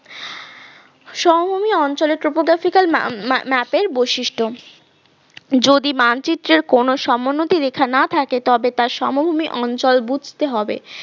সমভূমি অঞ্চলে topographical map এর বৈশিষ্ট্য, যদি মানচিত্রের কোন সমোন্নতি রেখা না থাকে তবে তার সমভূমি অঞ্চল বুঝতে হবে